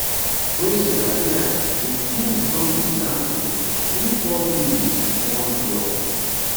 kwesi appiah since im become di sudan coach win 4 games wit one draw